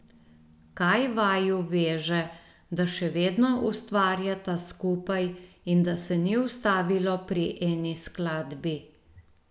Kaj vaju veže, da še vedno ustvarjata skupaj in da se ni ustavilo pri eni skladbi?